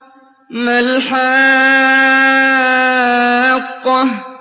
مَا الْحَاقَّةُ